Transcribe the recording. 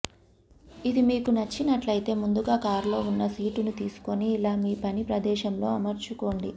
ఇది మీకు నచ్చినట్లయితే ముందుగా కారులో ఉన్న సీటును తీసుకుని ఇలా మీ పని ప్రదేశంలో అమర్చుకోండి